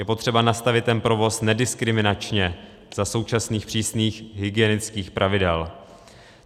Je potřeba nastavit ten provoz nediskriminačně za současných přísných hygienických pravidel.